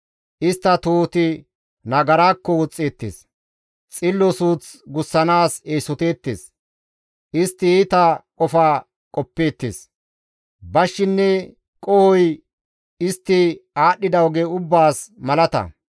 Istta tohoti nagarakko woxxeettes; xillo suuth gussanaas eesoteettes; istti iita qofa qoppeettes. Bashshinne qohoy istti aadhdhida oge ubbaas malata.